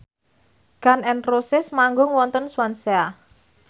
Gun n Roses manggung wonten Swansea